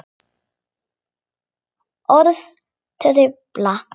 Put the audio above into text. Orð trufla.